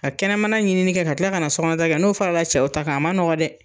Ka kɛnɛmana ɲinini kɛ ka tila kana sɔ kɔnɔ ta kɛ, n'o fɔra la cɛw ta kan a ma nɔgɔn dɛ.